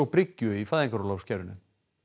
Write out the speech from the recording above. bryggju í fæðingarorlofskerfinu